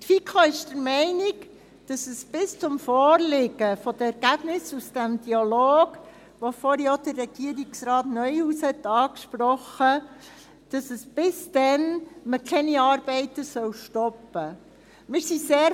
Die FiKo ist der Meinung, dass es bis zum Vorliegen der Ergebnisse aus diesem Dialog, den vorhin auch der Regierungsrat Neuhaus angesprochen hat, noch keine Arbeiten stoppen soll.